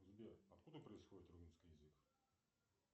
сбер откуда происходит румынский язык